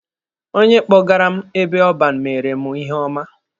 Onye kpọgara m ebe ọban mere mụ ihe ọma.